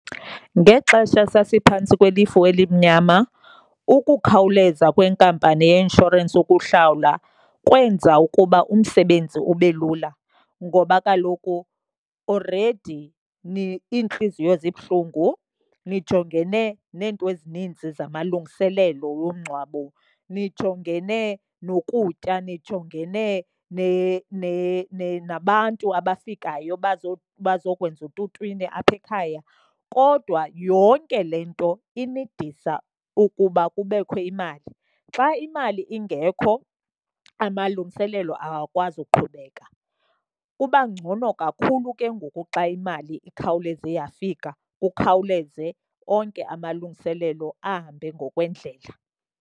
Ngexesha sasiphantsi kwelifu elimnyama, ukukhawuleza kwenkampani yeinshorensi ukuhlawula kwenza ukuba umsebenzi ube lula. Ngoba kaloku already iintliziyo zibuhlungu nijongene neento ezininzi zamalungiselelo womngcwabo. Nijongene nokutya, nijongene nabantu abafikayo abazokwenza ututwini apha ekhaya. Kodwa yonke le nto inidisa ukuba kubekho imali. Xa imali ingekho amalungiselelo awakwazi ukuqhubeka. Kuba ngcono kakhulu ke ngoku xa imali ikhawuleze yafika, kukhawuleze onke amalungiselelo ahambe ngokwendlela.